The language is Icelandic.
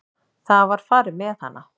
Það var farið með hana.